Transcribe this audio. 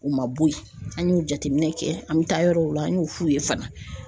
U ma bɔ ye an y'u jateminɛ kɛ an mi taa yɔrɔw la an y'u f'u ye fana.